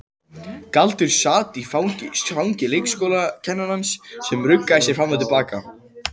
Galdur sat í fangi leikskólakennarans sem ruggaði sér fram og til baka.